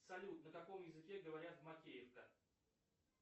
салют на каком языке говорят в макеевка